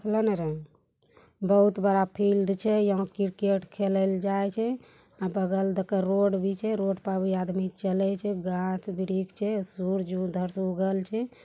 बहुत बड़ा फिल्ड छे यहाँ क्रिकेट खेलेल जाय छे बगल में रोड भी छे रोड में आदमी चलै छे गाछ-वृक्ष छे सूर्य उधर से उगल छे।